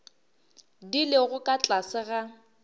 di lego ka tlase ga